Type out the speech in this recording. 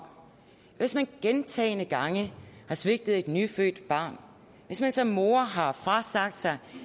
hvis man gentagne gange har svigtet et nyfødt barn hvis man som mor har frasagt sig